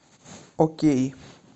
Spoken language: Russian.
окей